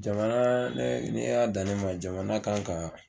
Jamana ne y'a ne y'a dan ne ma jamana kan kan.